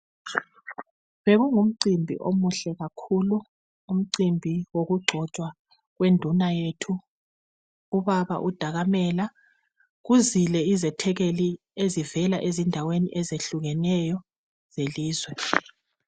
Bekungumcimbi omuhle kakhulu, umcimbi wokugxotshwa kwenduna yethu ubaba uDakamele , kuzile izethekeli ezivela endaweni ezehlukeneyo zelizwe.